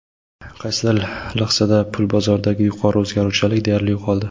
Qaysidir lahzada pul bozoridagi yuqori o‘zgaruvchanlik deyarli yo‘qoldi.